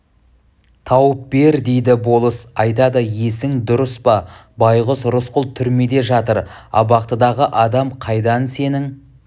тауып бер дейді болыс айтады есің дұрыс па байғұс рысқұл түрмеде жатыр абақтыдағы адам қайдан сенің